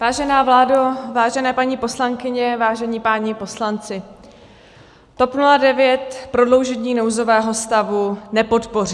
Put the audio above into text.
Vážená vládo, vážené paní poslankyně, vážení páni poslanci, TOP 09 prodloužení nouzového stavu nepodpoří.